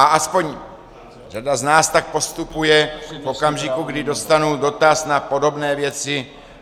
A aspoň řada z nás tak postupuje v okamžiku, kdy dostanu dotaz na podobné věci.